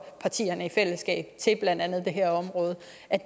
partierne i fællesskab til blandt andet det her område